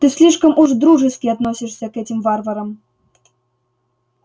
ты слишком уж дружески относишься к этим варварам